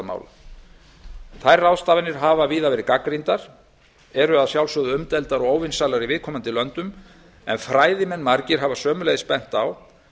velferðarmála þær ráðstafanir hafa víða verið gagnrýndar eru að sjálfsögðu umdeildar og óvinsælar í viðkomandi löndum en fræðimenn margir hafa sömuleiðis bent á